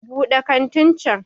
Buɗe kantin can!